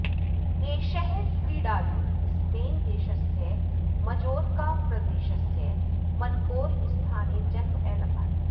एषः क्रीडालुः स्पेन् देशस्य मजोर्का प्रदेशस्य मनकोर् स्थाने जन्म अलभत